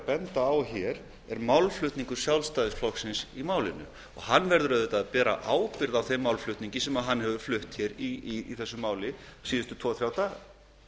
að benda á hér er málflutningur sjálfstæðisflokksins í málinu og hann verður auðvitað að bera ábyrgð á þeim málflutningi sínum síðustu tvo til þrjá daga hefur